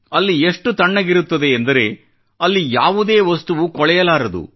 ಅಲ್ಲಿ ಎಷ್ಟು ತಣ್ಣಗಿರುತ್ತದೆ ಎಂದರೆ ಅಲ್ಲಿ ಯಾವುದೇ ವಸ್ತುವೂ ಕೊಳೆಯಲಾರದು